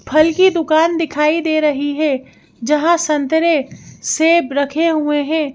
फल की दुकान दिखाई दे रही है जहां संतरे सेब रखे हुए हैं।